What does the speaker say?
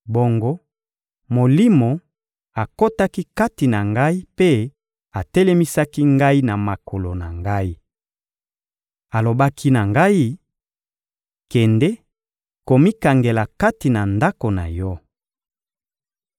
Bongo Molimo akotaki kati na ngai mpe atelemisaki ngai na makolo na ngai. Alobaki na ngai: «Kende komikangela kati na ndako na yo.